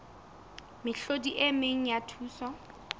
mehlodi e meng ya thuso